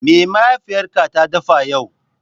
Me mahaifiyarka ta dafa yau?